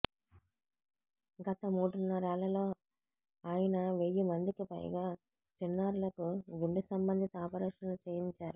గత మూడున్నరేళ్లలో ఆయన వెయ్యి మందికి పైగా చిన్నారులకు గుండె సంబంధిత ఆపరేషన్లు చేయించారు